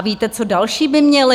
A víte, co další by měli?